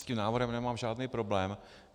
S tím návrhem nemám žádný problém.